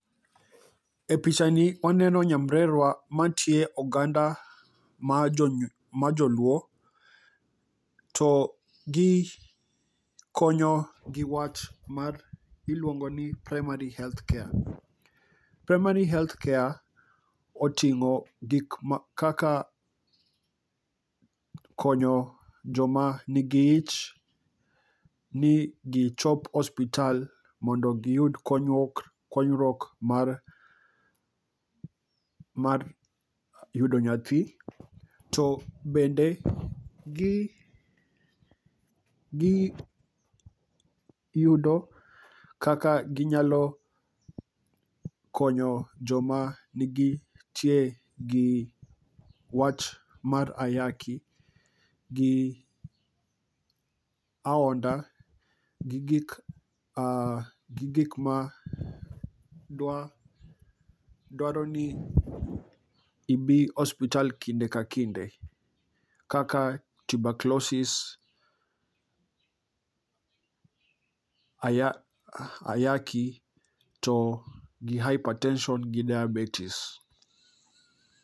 E picha ni waneno nyamrerwa mantie oganda ma joluo, to gi konyo gi wach mar iluongo ni primary health care. Primary health care oting'o gik ma kaka konyo joma nigi ich ni gichop osiptal mondo giyud konyruok, konyruok mar yudo nyathi. To bende gi, gi yudo kaka ginyalo konyo joma nigi tie gi wach mar ayaki, gi aonda, gi gik, gi gik ma dwaro ni ibi ospital kinde ka kinde. Kaka tuberculosis, ayaki, to gi hypertension gi diabetes.